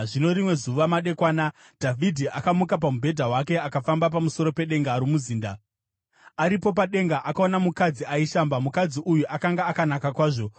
Zvino rimwe zuva madekwana Dhavhidhi akamuka pamubhedha wake akafamba pamusoro pedenga romuzinda. Aripo padenga akaona mukadzi aishamba. Mukadzi uyu akanga akanaka kwazvo,